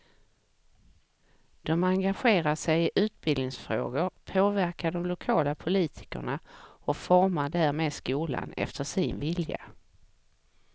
De engagerar sig i utbildningsfrågor, påverkar de lokala politikerna och formar därmed skolan efter sin vilja.